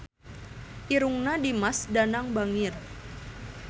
Irungna Dimas Danang bangir